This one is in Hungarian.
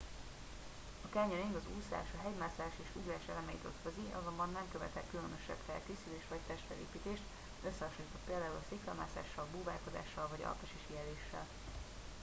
a canyoning az úszás a hegymászás és ugrás elemeit ötvözi - azonban nem követel különösebb felkészülést vagy testfelépítést összehasonlítva például a sziklamászással búvárkodással vagy alpesi síeléssel